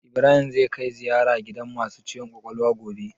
Ibrahim zai kai ziyara gidan masu ciwon kwakwalwa gobe?